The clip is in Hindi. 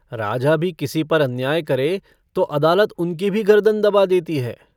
राजा भी किसी पर अन्याय करे तो अदालत उनकी भी गर्दन दबा देती है।